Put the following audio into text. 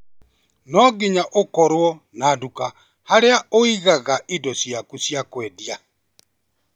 No nginya ũkorwo na nduka harĩa ũigaga indo ciaku cia kwendia